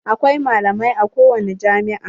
Akwai malamai a kowani jami'a.